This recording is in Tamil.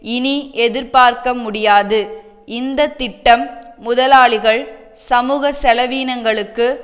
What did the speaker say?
இனி எதிர்பார்க்க முடியாது இந்த திட்டம் முதலாளிகள் சமூக செலவினங்களுக்கு